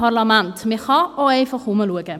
Man kann sich auch einfach umsehen.